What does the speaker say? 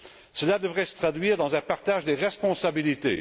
Cela devrait se traduire dans un partage des responsabilités.